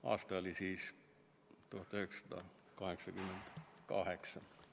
Aasta oli siis 1988.